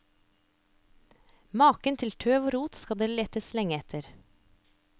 Maken til tøv og rot skal det letes lenge etter.